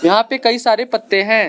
यहां पे कई सारे पत्ते हैं।